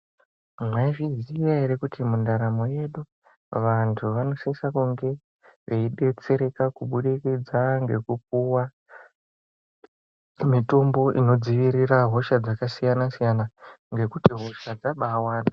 Mwaizviziya ere kuti mundaramo yedu vantu vanosisa kunge veidetsereka kubudikidza ngekupuwa mitombo inodzivirira hosha dzakasiyana siyana ngekuti hosha dzabawanda.